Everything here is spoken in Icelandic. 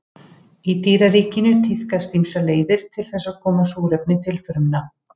Í dýraríkinu tíðkast ýmsar leiðir til þess að koma súrefni til frumna.